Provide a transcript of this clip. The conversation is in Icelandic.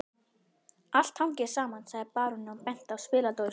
Allt hangir saman, sagði baróninn og benti á spiladósina